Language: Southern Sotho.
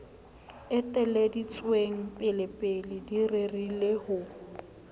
eteleditsweng pelepele di rerile ho